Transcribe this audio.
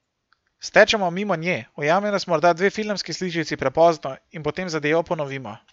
Stečemo mimo nje, ujame nas morda dve filmski sličici prepozno, in potem zadevo ponovimo.